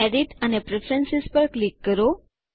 edit અને preference પર click કરો